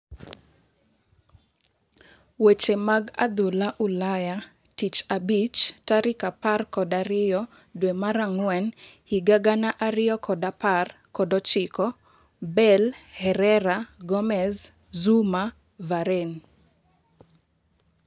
Weche mag adhula Ulaya Tich Abich tarika apar kod ariyo dwee mar ang'wen higa gana ariyo kod apar kod ochiko: Bale, Herrera, Gomez, Zouma, Varane